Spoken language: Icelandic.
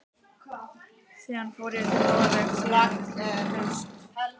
Síðan fór ég til Noregs síðastliðið haust.